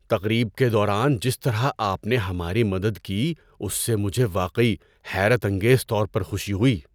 تقریب کے دوران جس طرح آپ نے ہماری مدد کی اس سے مجھے واقعی حیرت انگیز طور پر خوشی ہوئی!